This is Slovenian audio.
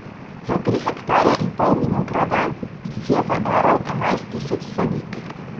Za tri hektarje in pol vinograda si je zaaral enajst tisoč sadik.